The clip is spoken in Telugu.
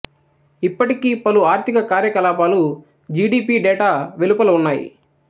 ఇప్పటికీ పలు ఆర్ధిక కార్యకలాపాలు జి డి పి డేటా వెలుపల ఉన్నాయి